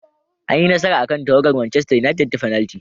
An yi nasara akan tawagar Manchester united ta fenalti.